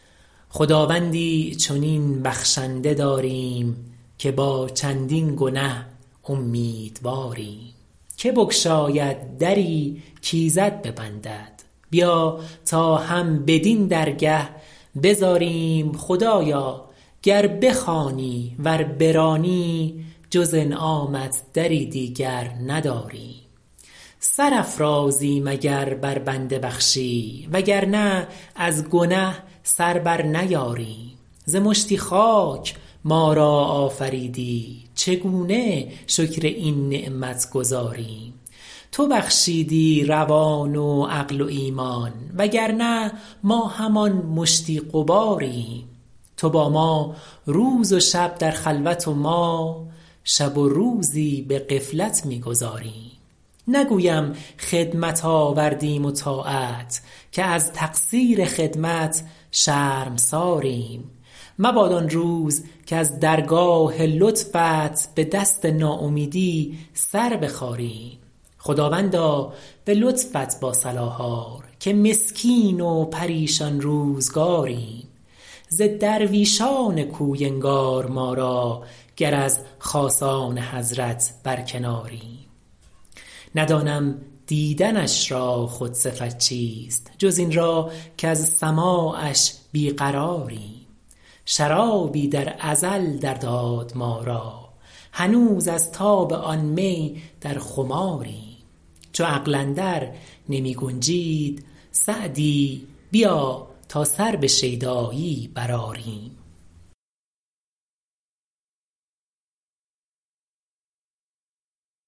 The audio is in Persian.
خداوندی چنین بخشنده داریم که با چندین گنه امیدواریم که بگشاید دری کایزد ببندد بیا تا هم بدین درگه بزاریم خدایا گر بخوانی ور برانی جز انعامت دری دیگر نداریم سر افرازیم اگر بر بنده بخشی وگرنه از گنه سر بر نیاریم ز مشتی خاک ما را آفریدی چگونه شکر این نعمت گزاریم تو بخشیدی روان و عقل و ایمان وگرنه ما همان مشتی غباریم تو با ما روز و شب در خلوت و ما شب و روزی به غفلت می گذاریم نگویم خدمت آوردیم و طاعت که از تقصیر خدمت شرمساریم مباد آن روز کز درگاه لطفت به دست ناامیدی سر بخاریم خداوندا به لطفت با صلاح آر که مسکین و پریشان روزگاریم ز درویشان کوی انگار ما را گر از خاصان حضرت برکناریم ندانم دیدنش را خود صفت چیست جز این را کز سماعش بیقراریم شرابی در ازل در داد ما را هنوز از تاب آن می در خماریم چو عقل اندر نمی گنجید سعدی بیا تا سر به شیدایی برآریم